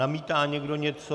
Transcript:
Namítá někdo něco?